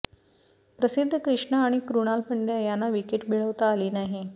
प्रसिद्ध कृष्णा आणि क्रुणाल पंड्या यांना विकेट मिळवता आली नाही